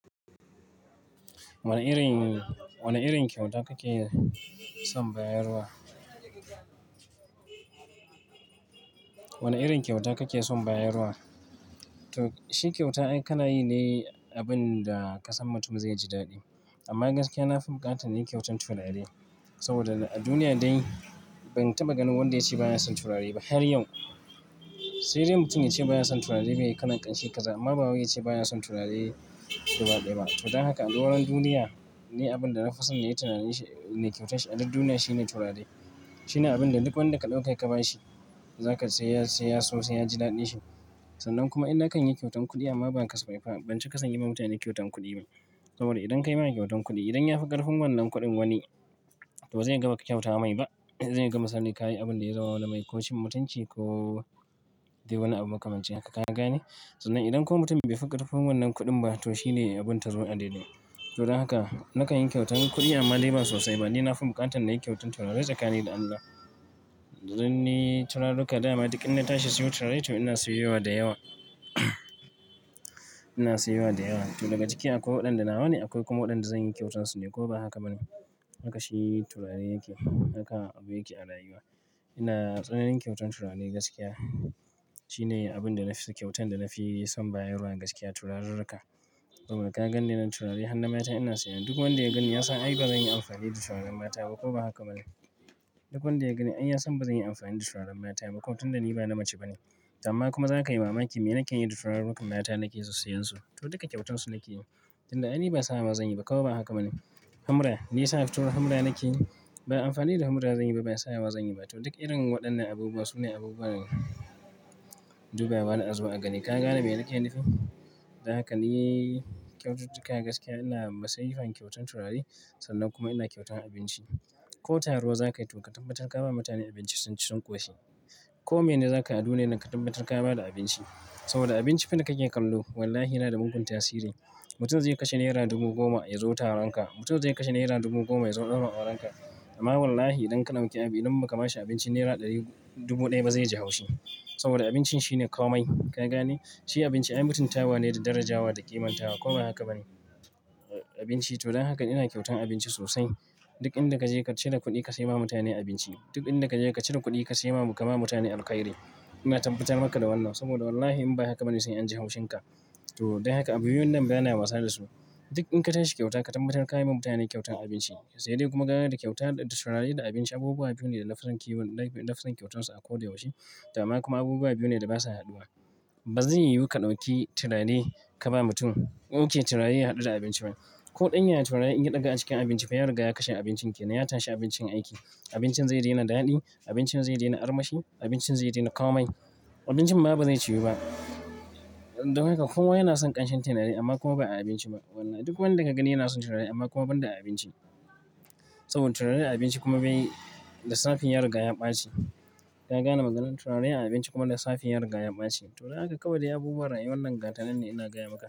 Wane irin, wane irin kyauta kake son bayarwa? Wane irin kyauta kake son bayarwa? To shi kyauta ai ka na yi ne abin da kasan mutum zai ji daɗi. Amma gaskiya na fi buƙatan nayi kyautan turare saboda a duniya dai ban taɓa ganin wanda ya ce ba ya son turare ba har yau. Sai dai mutum ya ce ba ya son turare mai kalan ƙanshi ƙaza. Amma ba wai ya ce ba ya son turare gaba ɗaya ba. To don haka a doron duniya, ne abin da na fi son nayi turare nayi kyautar shi a duk duniya shine turare. Shi ne abin da duk wanda ka ɗauka ka ba shi, za ka sai ya so sai ya ji daɗin shi. Sannan kuma inna ka kan yi kyautan kuɗi amma ba ka so faifa, ban ci kasan yi ma mutane kyautan kuɗi ba. Saboda idan ka yi ma shi kyautan kuɗi, idan ya fi ƙarfin wannan kuɗin wani, to ba zai yaga maka kyauta mai ba. Zai yaga misali ka yi abin da ya zamana mai ko cin mutunci ko dai wani abu makamanci haka, ka gane? Sannan idan ko mutum bai fi ƙarfin wannan kuɗin ba, to shi ne abin tazo a dai dai. To don haka na kan yi kyautan kuɗi amma dai ba sosai ba. Ni na fi buƙatan nayi kyautan turare tsakani da Allah. Dan ni turaruka dama duk in na tashi siyo turare to ina siyo yawa da yawa. Ina siyo yawa da yawa. To daga ciki akwai waɗanda nawa ne, akwai kuma waɗanda zan yi kyautarsu ne ko ba haka ba ne. Haka shi turare yake, haka abu yake a rayuwa. Ina tsananin kyautan turare gaskiya. Shi ne abin da na fi so kyautan da na fi son bayarwa gaskiya turaruruka. Saboda ka ga ne nan turare har na mata ina siya. Duk wanda ya ganni ya san ai ba zan yi amfani da turaren mata ba ko ba haka ba ne. Duk wanda ya gani ai ya san ba zan yi amfani da turaren mata ba. Ko tunda ni ba na mace ba ne. Amma kuma za ka yi wa maki me nake yi da tururukan mata na ke sissiyan su? To duka kyautansu nake yi. Don da aini ba sa wa zanyi ba ko ba haka ba ne. Humra, ni sa tur humra na ke yi? Ba yi amfani da humra zanyi ba, ba ya sa wa zanyi ba. To duk irin waɗannan abubuwa su ne abubuwan dubawa na azo a gani. Ka gane me nake nufi? Don haka ni kyautuka gaskiya ina masifan kyautan turare sannan kuma ina kyautan abinci. Ko taro za ka yi to ka tabbatar ka ba mutane abinci sun ci sun ƙoshi. Ko mene za ka aduniyan nan ka tabbatar ka ba da abinci. Saboda abinci fa ne kake kallo. Wallahi yana da mugun tasiri. Mutum zai kashe naira dubu goma ya zo taronka, mutum zai kashe naira dubu goma ya zo ɗaurin auranka. Amma wallahi idan kalan ki a bi idan ba ka ma shi abinci naira ɗari, dubu ɗaya ba zai ji haushi. Saboda abinci shi ne komai, ka gane? Shi abinci ai mutunta wa ne da darajawa da ƙiman tawa ko ba haka ba ne. Abinci to don haka ina kyautan abinci sosai. Duk inda ka je ka cire kuɗi ka sai ma mutane abinci. Duk inda ka je ka cire kuɗi ka sai ma, ka ma mutane alkairi. Ina tabbatar maka da wannan saboda wallahi in ba haka ba ne sai anji haushin ka. To don haka abu biyun nan bana wasa da su. Duk in ka tashi kyauta ka tabbatar ka yi wa mutane kyautan abinci. Sai dai kuma kaga da kyauta da turare da abinci abubuwa biyu ne da na fi son kiwon, da na fi son kyautarsu a ko da yaushe. To amma kuma abubuwa biyu ne da basa haduwa. Ba zai yiwu ka ɗauki turare ka ba mutum, in kin turare ya haɗu da abinci ba. Ko ɗanyaya turare in ɗiga a cikin abinci fa yariga ya kashe abincin kenan. Ya tashi abincin aiki. Abincin zai daina daɗi, abincin zai daina armashi, abincin zai daina ƙamai. Abincin ma ba zai ciwu ba. Don haka kowa yana son ƙanshin turare amma kuma ba a abinci ba. Duk wanda ka gani yana son turare amma kuma ban da a abinci. Saboda turare a abinci kuma bai da safe yariga ya ɓaci. Ka gane maganar? Turare abinci kuma lissafi yariga ya ɓaci. To don haka kawai dai abubuwa rayuwan nan ga tanannane ina gaya maka.